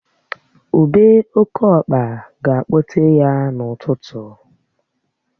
Ubé oke ọkpa ga-akpọ tee ya n'ụtụtụ